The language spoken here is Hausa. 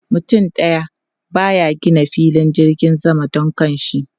Mutum daya ba ya gina filin jirgin sama don kanshi.